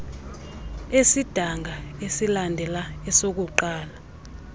esidanga esilandela esokuqala